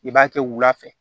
I b'a kɛ wula fɛ